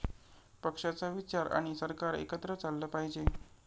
पक्षाचा विचार आणि सरकार एकत्र चाललं पाहिजे.